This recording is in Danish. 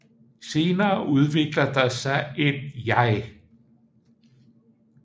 Senere udvikler der sig et jeg